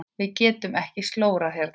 Við getum ekki slórað hérna.